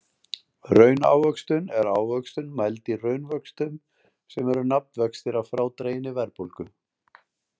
Raunávöxtun er ávöxtun mæld í raunvöxtum sem eru nafnvextir að frádreginni verðbólgu.